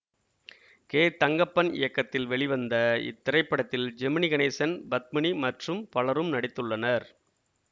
K Thangappan இயக்கத்தில் வெளிவந்த இத்திரைப்படத்தில் ஜெமினி கணேசன் பத்மினி மற்றும் பலரும் நடித்துள்ளனர்